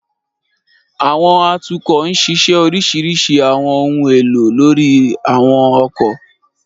Àwọn atukọ nṣiṣẹ orisirisi àwọn ohun elo lori àwọn ọkọ.